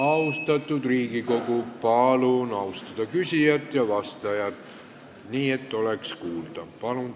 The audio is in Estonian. Austatud Riigikogu, palun austada küsijat ja vastajat, nii et oleks kuulda, mida räägitakse!